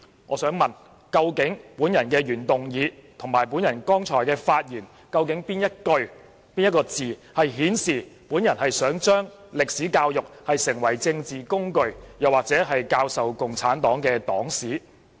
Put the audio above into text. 我想問究竟我的原議案及剛才發言的哪一句、哪些字顯示我想令中史教育成為政治工具，或用作教授共產黨黨史？